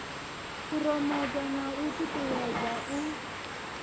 phuromotha na u ṱuṱuwedza u